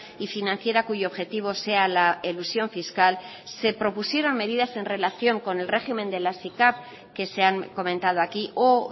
y financiera cuyo objetivo sea la elusión fiscal se propusieron medidas en relación con el régimen de las sicav que se han comentado aquí o